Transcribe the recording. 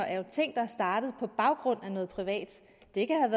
er ting der er startet på baggrund af noget privat det kan have